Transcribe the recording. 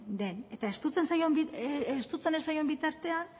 den estutzen ez zaion bitartean